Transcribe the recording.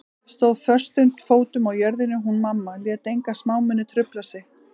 Stóð föstum fótum á jörðinni hún mamma, lét enga smámuni trufla sig.